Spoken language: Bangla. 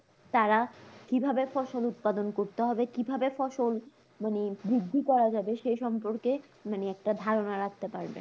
তারা, কিভাবে ফসল উৎপাদন করতে হবে? কিভাবে ফসল মান বৃদ্ধি করা যাবে? কিভাবে ফসল মান বৃদ্ধি করা যাবে